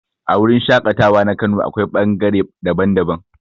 A wurin shaƙatawa na kano akwai ɓangare daban-daban.